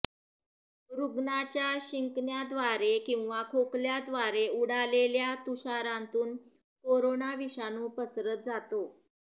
रुग्णाच्या शिंकण्याव्दारे किंवा खोकल्याव्दारे उडालेल्या तुषारांतून कोरोना विषाणू पसरत जातो